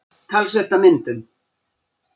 Talsvert af myndum.